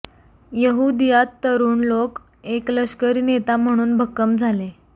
यहूदीयात तरुण लोक एक लष्करी नेता म्हणून भक्कम झाले